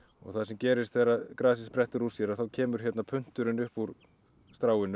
það sem gerist þegar grasið sprettur úr sér þá kemur hérna punturinn upp úr